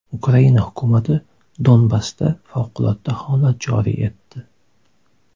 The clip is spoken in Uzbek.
Ukraina hukumati Donbassda favqulodda holat joriy etdi.